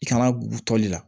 I kana gutɔli la